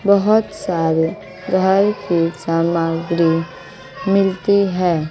बहुत सारे घर के सामान भी मिलते है।